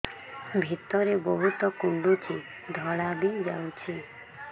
ଭିତରେ ବହୁତ କୁଣ୍ଡୁଚି ଧଳା ବି ଯାଉଛି